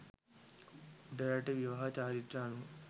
උඩරට විවාහ චාරිත්‍ර අනුව